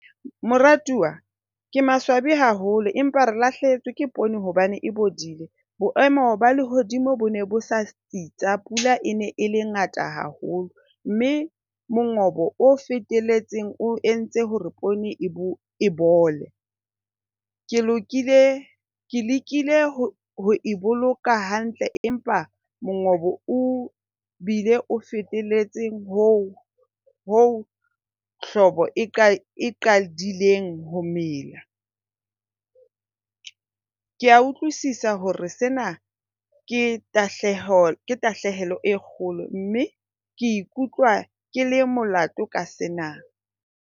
Moratuwa ke maswabi haholo empa re lahlehetswe ke poone hobane e bodile. Boemo ba lehodimo bo ne bo sa tsitsa. Pula e ne e le ngata haholo mme mongobo o fetelletseng o entse hore poone e bole. Ke lokile ke lekile ho e boloka hantle empa mongobo o bile o fetelletseng hoo hoo hlobo e qadileng ho mela. Ke a utlwisisa hore sena ke tahleho, tahlehelo e kgolo mme ke ikutlwa ke le molato ka sena.